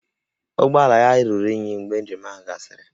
Ụgbọ ala ya ruru unyi mgbe njem ahụ gasịrị